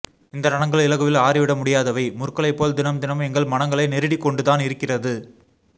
இந்த ரணங்கள் இலகுவில் ஆறிவிட முடியாதவை முற்களைப்போல் தினம் தினம் எங்கள் மனங்களை நெருடிக்கொண்டுதான் இருக்கறது